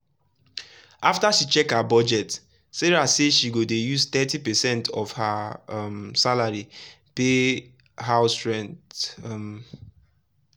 after she check her budget sarah say she go dey use thirty percent of her um salary pay house rent. um